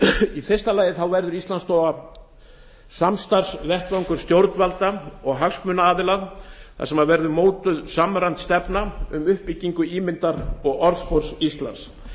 í fyrsta lagi verður íslandsstofa samstarfsvettvangur stjórnvalda og hagsmunaaðila þar sem verður mótuð samræmd stefna um uppbyggingu ímyndar og orðspors íslands